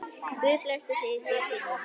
Guð blessi þig Sísí mín.